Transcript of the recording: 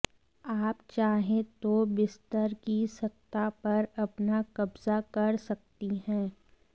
आप चाहें तो बिस्तर की सत्ता पर अपना कब्जा कर सकती हैं